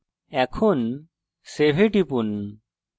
save এ টিপুন